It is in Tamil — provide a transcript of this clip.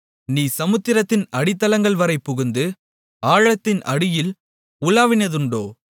நீ சமுத்திரத்தின் அடித்தளங்கள்வரை புகுந்து ஆழத்தின் அடியில் உலாவினதுண்டோ